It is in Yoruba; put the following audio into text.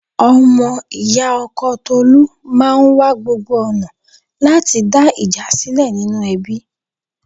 Ọmọ ì̀yá ọkọ Tolu máa wa gbogbo ọ̀nà láti dá ìjà sílẹ̀ nínú ẹbí.